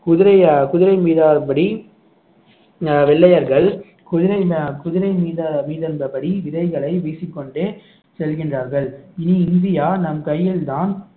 குதிரை அஹ் குதிரை மீதான படி அஹ் வெள்ளையர்கள் குதிரை அஹ் குதிரை மீது மீது இருந்தபடி விதைகளை வீசிக்கொண்டு செல்கின்றார்கள் இனி இந்தியா நம் கையில்தான்